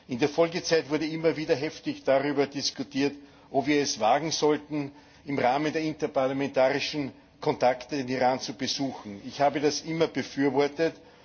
In der Folgezeit wurde immer wieder heftig darüber diskutiert, ob wir es wagen sollten, im Rahmen der interparlamentarischen Kontakte den Iran zu besuchen. Ich habe das immer befürwortet.